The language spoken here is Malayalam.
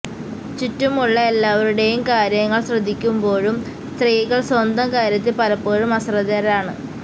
ചുറ്റുമുള്ള എല്ലാവരുടെയും കാര്യങ്ങള് ശ്രദ്ധിക്കുമ്പോഴും സ്ത്രീകള് സ്വന്തം കാര്യത്തിൽ പലപ്പോഴും അശ്രദ്ധരാണ്